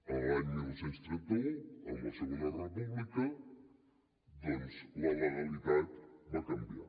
a l’any dinou trenta u amb la segona república doncs la legalitat va canviar